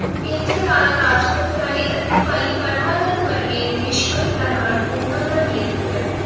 ਇੱਥੇ ਲਾਲਾ ਰਾਜਪਤ ਰਾਏ ਅਤੇ ਭਾਈ ਪਰਮਾ ਨੰਦ ਵਰਗੇ ਦੇਸ਼ ਭਗਤਾਂ ਨਾਲ ਉਹਨਾਂ ਦਾ ਮੇਲ ਹੋਇਆ।